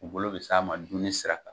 U bolo bi s'a ma dumuni sira kan.